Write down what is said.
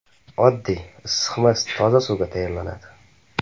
Oddiy, issiqmas, toza suvga tayyorlanadi.